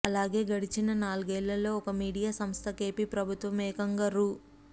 అలాగే గడచిన నాలుగేళ్లలో ఒక మీడియా సంస్థకు ఎపి ప్రభుత్వం ఏకంగా రూ